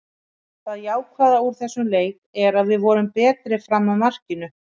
Það jákvæða úr þessum leik er að við vorum betri fram að markinu.